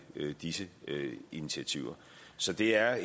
disse initiativer så det er